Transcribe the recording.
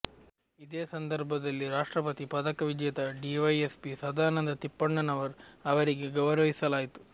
ಇದೇ ಸಂದರ್ಭದಲ್ಲಿ ರಾಷ್ಟ್ರಪತಿ ಪದಕ ವಿಜೇತ ಡಿವೈಎಸ್ಪಿ ಸದಾನಂದ ತಿಪ್ಪಣ್ಣನವರ್ ಅವರಿಗೆ ಗೌರವಿಸಲಾಯಿತು